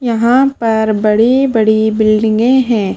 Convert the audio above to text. यहां पर बड़ी-बड़ी बिल्डिंगें हैं।